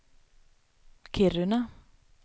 Kiruna